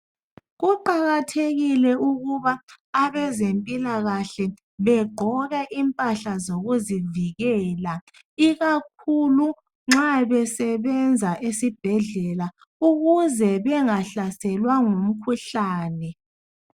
Kuqakathekile ukuba abezempilakahle begqoke impahla zokuzivikela ikakhulu nxa besebenza esibhedlela ukuze bengahlaselwa ngumkhuhlane.